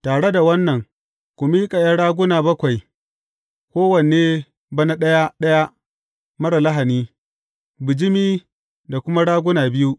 Tare da wannan, ku miƙa ’yan raguna bakwai, kowanne bana ɗaya ɗaya marar lahani, bijimi da kuma raguna biyu.